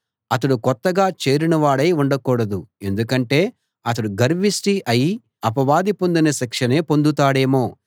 అతడు కొత్తగా చేరినవాడై ఉండకూడదు ఎందుకంటే అతడు గర్విష్టి అయి అపవాది పొందిన శిక్షనే పొందుతాడేమో